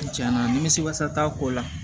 Tiɲɛna nimisi wasa t'a ko la